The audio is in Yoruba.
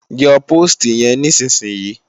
Yọ póòstì yẹn nísinsìnyí!